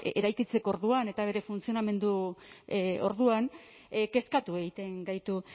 eraikitzeko orduan eta bere funtzionamendu orduan kezkatu egiten gaitu